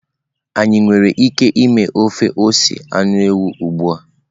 Anyị nwere ike ime ofe ose anụ ewu ugbua?